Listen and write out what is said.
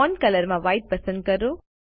font colour માં white પસંદ કરો